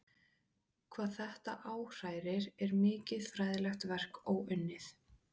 Hvað þetta áhrærir er mikið fræðilegt verk óunnið.